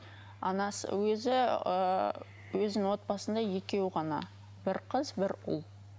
анасы өзі ыыы өзінің отбасында екеуі ғана бір қыз бір ұл